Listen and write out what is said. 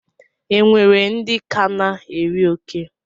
E nwere ndị ka na-eri oke?